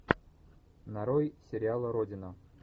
нарой сериал родина